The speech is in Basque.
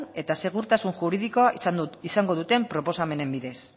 eta segurtasun juridikoa izango duten proposamenen bidez